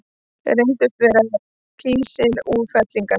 Reyndust þau vera kísilútfellingar.